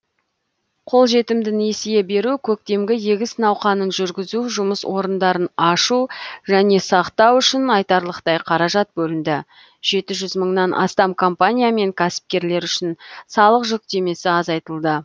қолжетімді несие беру көктемгі егіс науқанын жүргізу жұмыс орындарын ашу және сақтау үшін айтарлықтай қаражат бөлінді жеті жүз мыңнан астам компания мен кәсіпкерлер үшін салық жүктемесі азайтылды